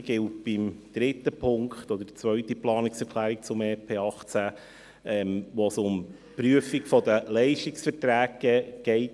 Dasselbe gilt für den dritten Punkt, also für die zweite Planungserklärung zum EP 18, wo es um die Prüfung der Leistungsverträge geht.